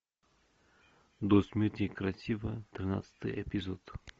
до смерти красива тринадцатый эпизод